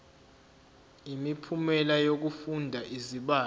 imiphumela yokufunda izibalo